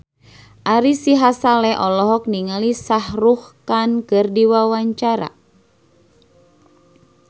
Ari Sihasale olohok ningali Shah Rukh Khan keur diwawancara